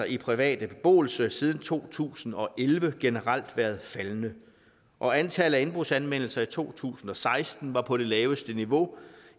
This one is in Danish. i privat beboelse siden to tusind og elleve generelt været faldende og antallet af indbrudsanmeldelser i to tusind og seksten var på det laveste niveau